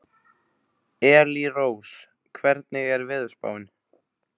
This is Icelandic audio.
Elírós, hvernig er veðurspáin?